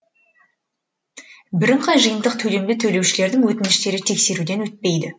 бірыңғай жиынтық төлемді төлеушілердің өтініштері тексеруден өтпейді